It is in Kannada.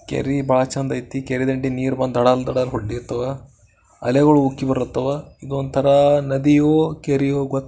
ಕೆರೆ ಬಾಳ ಚಂದ್ ಐತಿ ಕೆರೆ ಹತ್ರ ನೀರು ಬಂದು ಧಡ ಮುಟ್ಟಿದೆ ಅಲೆಗಳು ಉಕ್ಕಿ ಬರುತವೆ ಒಂದು ತರ ನದಿಯೋ ಕೆರೆಯೋ ಗೊತ್ --